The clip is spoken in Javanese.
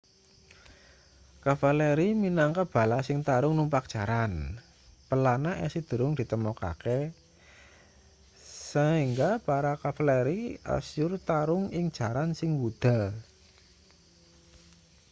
kavaleri minangka bala sing tarung numpak jaran pelana isih durung ditemokake saengga para kavaleri asyur tarung ing jaran sing wuda